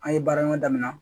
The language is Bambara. An ye baara ɲɔgɔn daminɛ